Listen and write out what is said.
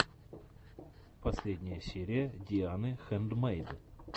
последняя серия дианы хэндмэйд